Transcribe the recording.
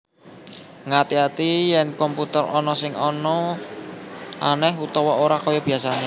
Ngati ati yèn komputer ana sing anèh utawa ora kaya biasané